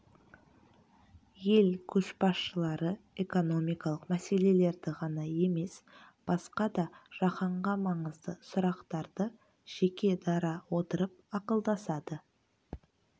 ел көшбасшылары экономикалық мәселелерді ғана емес басқа да жаһанға маңызды сұрақтарды жеке дара отырып ақылдасады